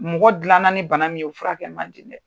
Mɔgɔ gilan na ni bana min ye o furakɛ man di dɛ.